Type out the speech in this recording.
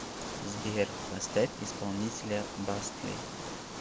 сбер поставь исполнителя бастли